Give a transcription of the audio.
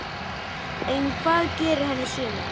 En hvað gerir hann í sumar?